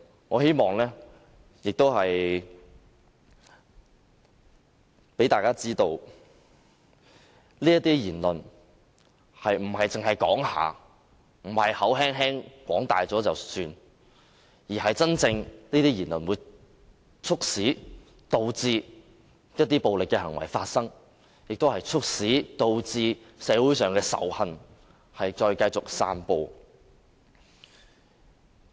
我希望讓大家知道，這些言論並不是草率地說了算，而是真的會促使一些暴力行為發生，亦會促使社會繼續散播仇恨。